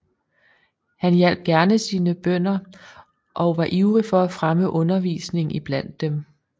Han hjalp gerne sine bønder og var ivrig for at fremme undervisningen iblandt dem